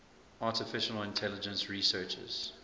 artificial intelligence researchers